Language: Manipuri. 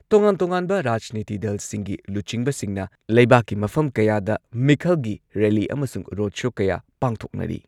ꯇꯣꯉꯥꯟ ꯇꯣꯉꯥꯟꯕ ꯔꯥꯖꯅꯤꯇꯤ ꯗꯜꯁꯤꯡꯒꯤ ꯂꯨꯆꯤꯡꯕꯁꯤꯡꯅ ꯂꯩꯕꯥꯛꯀꯤ ꯃꯐꯝ ꯀꯌꯥꯗ ꯃꯤꯈꯜꯒꯤ ꯔꯦꯜꯂꯤ ꯑꯃꯁꯨꯡ ꯔꯣꯗ ꯁꯣ ꯀꯌꯥ ꯄꯥꯡꯊꯣꯛꯅꯔꯤ꯫